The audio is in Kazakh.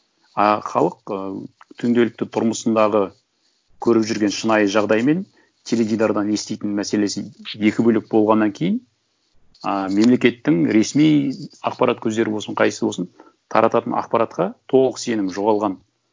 ы халық ыыы күнделікті тұрмысындағы көріп жүрген шынайы жағдай мен теледидардан еститін мәселесі екі бөлек болғаннан кейін ы мемлекеттің ресми ақпарат көздері болсын қайсы болсын таратытын ақпаратқа толық сенім жоғалған